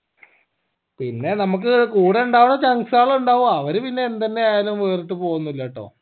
പിന്നെ നമ്മക്ക് കൂടെ ഇണ്ടാവാ chunks ആണ് ഇണ്ടാവാ അവര് പിന്നെ എന്തെന്നെ ആയാലും വേറിട്ട് പോവോന്നുല്ലാട്ടോ